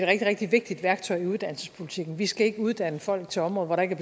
rigtig rigtig vigtigt værktøj i uddannelsespolitikken vi skal ikke uddanne folk til områder hvor der ikke